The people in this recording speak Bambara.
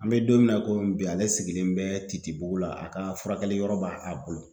An bE don min na i bi ale sigilen bɛ titi bugu la, a ka furakɛli yɔrɔ b'a a bolo.